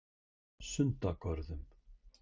Sundagörðum